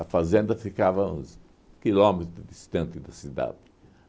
A fazenda ficava uns quilômetros distante da cidade.